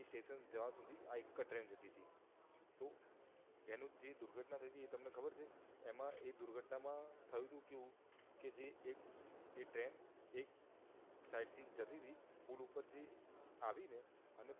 આ એક જ ટ્રેન જતી હતી તો એનું જે દુર્ધટના થઈ તી એ તમને ખબર છે એમાં એ દુર્ઘટના માં થયું તુ કેવું કે જે એક એ ટ્રેન એક સાઇડ થી જતી તી પુલ પર થી આવી આવી ને અને